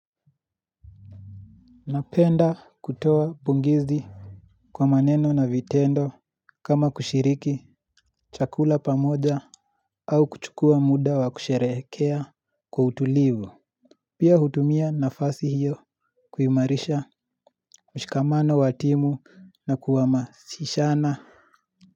Napenda kutoa pongezi kwa maneno na vitendo kama kushiriki chakula pamoja au kuchukua muda wa kusherehekea kwa utulivu. Pia hutumia nafasi hiyo. Kuimarisha mshikamano wa timu na kuhamasishana.